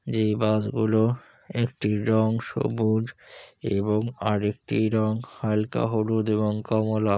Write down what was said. যে বাস গুলো একটি রং সবুজ এবং আরেকটি রং হালকা হলুদ এবং কমলা।